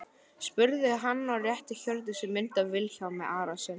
spurði hann og rétti Hjördísi mynd af Vilhjálmi Arasyni.